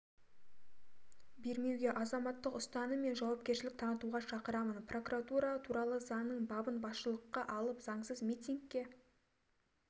бермеуге азаматтық ұстаным мен жауапкершілік танытуға шақырамын прокуратура туралы заңның бабын басшылыққа алып заңсыз митингке